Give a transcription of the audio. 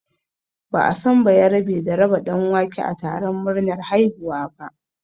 Ba'a san bayerabe da raba ɗanwake a taron murnar haihuwa ba